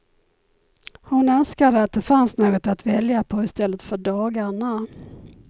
Hon önskade att det fanns något att välja på istället för dagarna.